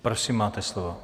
Prosím, máte slovo.